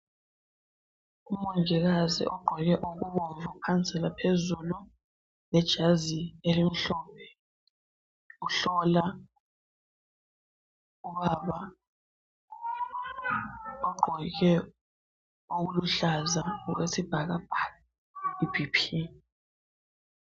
Umongikazi ogqoke okubomvu phansi laphezulu lejazi elimhlophe, uhlola ubaba ogqoke okuluhlaza okwesibhakabhaka i"BP"